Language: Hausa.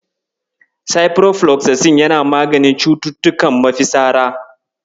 Ciprofloxacin yana maganin cututtukan mafitsara.